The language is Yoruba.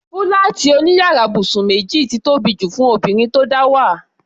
Fúláàtì òní yàrá ibùsùn méjì ti tóbi jù fún obìnrin tó dáwà.